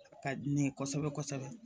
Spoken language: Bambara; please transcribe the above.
A ka di ne ye kosɛbɛ kosɛbɛ